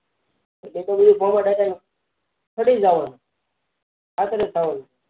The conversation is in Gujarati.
એતો બધું ખેડી જવાનું ખાતર જ થવાનું